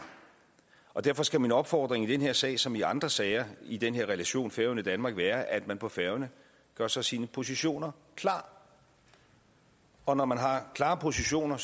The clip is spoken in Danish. derfor skal min opfordring i den her sag som i andre sager i den her relation færøerne danmark være at man på færøerne gør sig sine positioner klare og når man har klare positioner